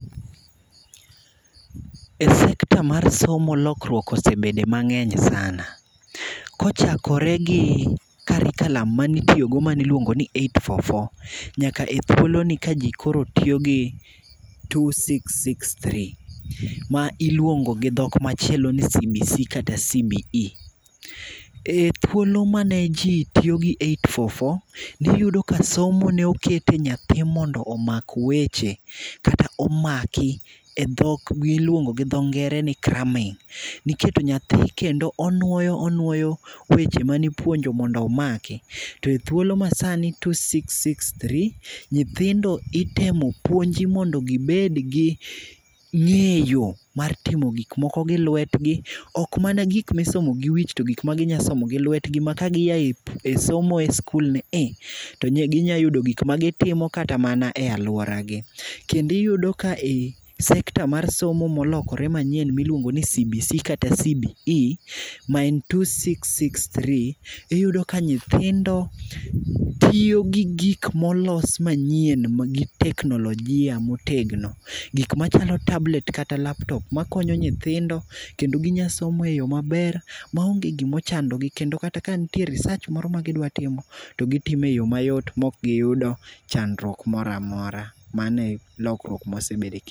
E senter mar somo lokruok osebede mang'eny sana. Kochakore curriculum mane iluongo ni aboro ang'wen ang'wen , nyakaethuolo ni ka koro kji tiyo gi ariyo auchielmadek, ma iluongo gi dhok machielo ni nCBC kata CBE. Ethuolo mane ji tiyo gi aboro ang'wen ang'wen, ne iyudo ka somo ne iketo nyathi mondo omak weche miluongo gi dho ngere ni craming. Ne iketo nyathi onuoyo, onuoyo weche mane ipuonjo mondo omaki. To ethuolo masani mar ariyo auchiel auchiel, nyithindo ipuonjo mondo gibed gi ng'eyo mar timo gik moko gi lwetgi, ok mana gik misomo gi wich to gik ma ginyalo somo gi lwetgi ka gia e somo ni i to ginyalo yudo gik ma ginyalo timo kata mana e aluoragi. Kendo iyudo kae secter mar somo molokore manyien miluongo ni CBC kata CBE, maen ariyo auchiel auchiel adek, iyudo ka nyithindo tiyo gi gik molos manyien mag teknolojia motegno. Gik machalo machalo tablet kata laptop makonyo nyithindo, kendo ginyalo somo eyo maber maonge gima ochandogi. Kata ka nitie research m,oro ma gidwa timo to gitimo eyo mayot maok giyudo chandruok moro amora. Mano e chandruok ma wasebet go.